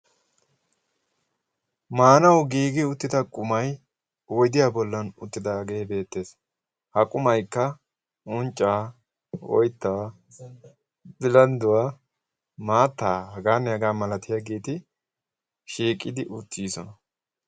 Maanawu giigi uttida qumai wodiyaa bollan uttidaagee beettees. ha qumaikka unccaa oyttaa bilandduwaa maattaa hagaanne hagaa malati yaagiiti shiiqidi uttiiisona.